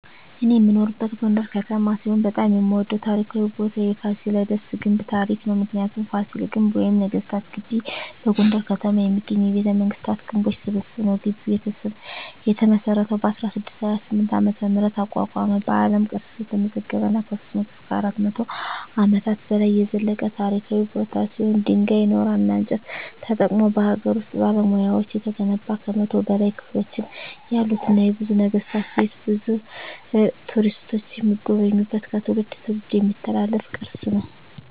እኔ የምኖርበት ጎንደር ከተማ ሲሆን በጣም የምወደው ታሪካዊ ቦታ የፋሲለደስ ግንብ ታሪክ ነው። ምክንያቱ : ፋሲል ግንብ ወይም ነገስታት ግቢ በጎንደር ከተማ የሚገኝ የቤተመንግስታት ግንቦች ስብስብ ነው። ግቢው የተመሰረተው በ1628 ዓ.ም አቋቋመ በአለም ቅርስነት የተመዘገበ እና ከ300-400 አመታት በላይ የዘለቀ ታሪካዊ ቦታ ሲሆን ድንጋይ ,ኖራና እንጨት ተጠቅመው በሀገር ውስጥ ባለሙያዎች የተገነባ ከ100 በላይ ክፍሎች ያሉትና የብዙ ነገስታት ቤት ብዙ ቱሪስቶች የሚጎበኙት ከትውልድ ትውልድ የሚተላለፍ ቅርስ ነው።